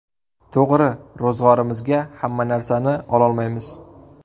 To‘g‘ri, ro‘zg‘orimizga hamma narsani ololmaymiz.